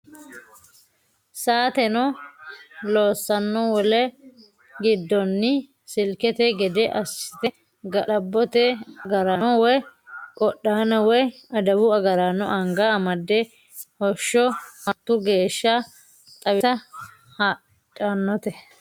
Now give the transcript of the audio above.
Saateno loossano wole giddoni silkete gede assite ga'labbote agarano woyi qodhano woyi adawu agaraano anga amade hosho martu geeshsha xawisani hadhanote.